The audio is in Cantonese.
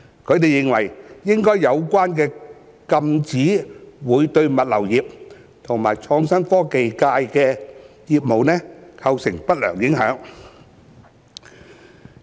他們認為，有關禁止會對物流業及創新科技界的業務構成不良影響。